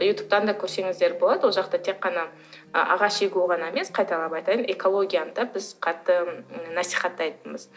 ютубтан да көрсеңіздер болады ол жақта тек қана ы ағаш егу ғана емес қайталап айтайын экологияны да біз қатты насихаттайтынбыз